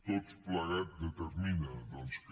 tot plegat determina que